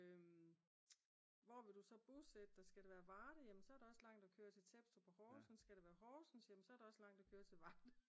Hvor vil du så bosætte dig? Skal det være Varde jamen så er der også langt at køre til Tebstrup og Horsens og skal det være Horsens så er det også langt at køre til Varde